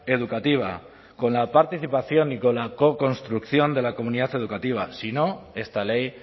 educativa con la participación y con la co construcción de la comunidad educativa si no esta ley